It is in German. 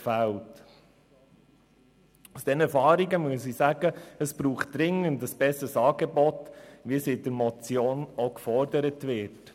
Aufgrund dieser Erfahrungen muss ich sagen, dass es dringend ein besseres Angebot braucht, so wie es in der Motion gefordert wird.